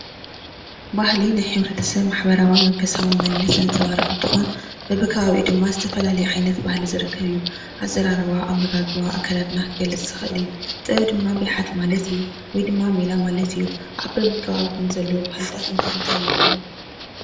ባህሊ ናይ ሓደ ሕብርተ ሰብ መንነት ዘንፀባርቅን እንትኮን በቢ ከባቢኡ ድማ ዝተፈላለየ ዓይነት ባህሊ እዩ። ኣዘራርባ፣ ኣመጋግባ ፣ዝገልፅ ዝክእል እዩ ።ጥበብ ድማ ብልሓት ማለት እዩወይ ደማ ሜላ ማለት እዩ ። ኣብ በቢከባቢኩም ዘለው ባ ህሊ እንታይ እንታይ ባህሊ ኣለኩም ?